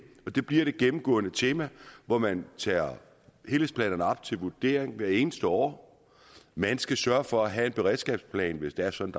det bliver det gennemgående tema hvor man tager helhedsplanerne op til vurdering hvert eneste år man skal sørge for at have en beredskabsplan hvis det er sådan